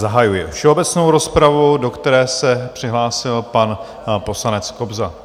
Zahajuji všeobecnou rozpravu, do které se přihlásil pan poslanec Kobza.